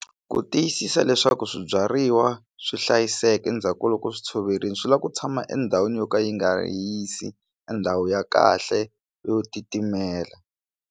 Ku tiyisisa leswaku swibyariwa swi hlayiseka endzhaku ka loko swi tshoverile swi lava ku tshama endhawini yo ka yi nga hisi endhawu ya kahle yo titimela.